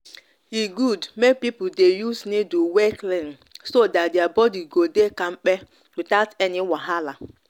e good make people dey use needle wey clean so that their body go dey kampe without any wahala.